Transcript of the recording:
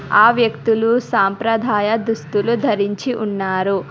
ఆ వ్యక్తులు సాంప్రదాయ దుస్తులు ధరించి ఉన్నారు.